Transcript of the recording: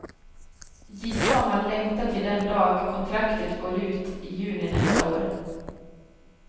Gissa om han längtar till den dag kontraktet går ut i juni nästa år.